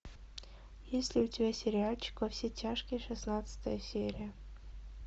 есть ли у тебя сериальчик во все тяжкие шестнадцатая серия